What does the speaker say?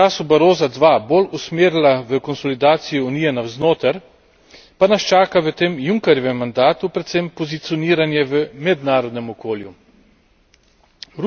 Če se je Evropska unija v času Barossa II bolj usmerila v konsolidacijo Unije navznoter, pa nas čaka v tem Junckerjevem mandatu predvsem pozicioniranje v mednarodnem okolju.